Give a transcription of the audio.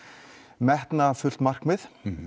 metnaðarfullt markmið